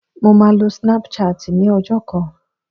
Mo máa lo snap chat ní ọjọ́ kan